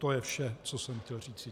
To je vše, co jsem chtěl říci.